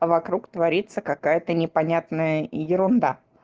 вокруг творится какая-то непонятная ерунда